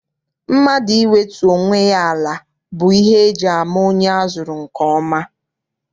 Mmadụ iwetu onwe ya ala bụ ihe eji ama onye azụrụ nke ọma.